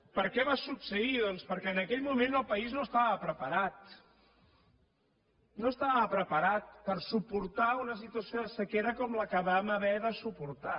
per què va succeir doncs perquè en aquell moment el país no estava preparat no estava preparat per suportar una situació de sequera com la que vam haver de suportar